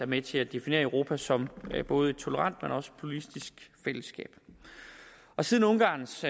med til at definere europa som et både tolerant og pluralistisk fællesskab siden ungarns